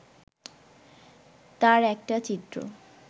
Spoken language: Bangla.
তার একটা চিত্র